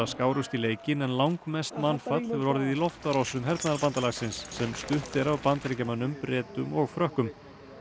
skárust í leikinn en langmest mannfall hefur orðið í loftárásum hernaðarbandalagsins sem stutt er af Bandaríkjamönnum Bretum og Frökkum